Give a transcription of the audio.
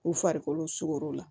U farikolo sogo la